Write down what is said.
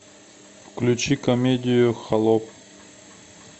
включи комедию холоп